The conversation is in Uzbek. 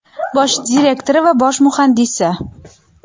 bosh direktori va bosh muhandisi.